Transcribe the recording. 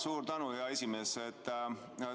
Suur tänu, hea esimees!